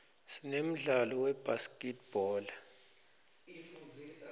sinemdlalo webhaskidbhola